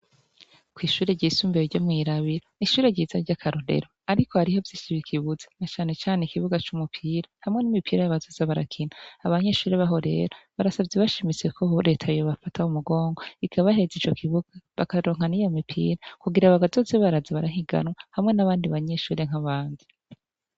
Ko'ishure ryisumbeye ryo mw'irabira ishure ryiza ry' akarurero, ariko hariho vyishibe ikibuzi na canecane ikibuga c'umupira hamwe n'imipira y'abazaza barakina abanyeshure baho rera barasavye bashimiseko horetayo bafata ho mugongwa ikabaheza ico kibuga bakaronkaniya mipira kugira bagazoze barazi barahiganwa hamwe n'abandi banyeshure nk'abanza.